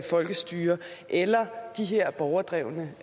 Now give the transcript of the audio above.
folkestyre eller de her borgerdrevne